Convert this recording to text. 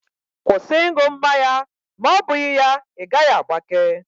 Kwụsị ị ṅụ mmanya ma ọ bụghị ya, ị gaghị agbake!